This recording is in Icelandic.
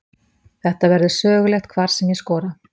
Þetta verður sögulegt hvar sem ég skora.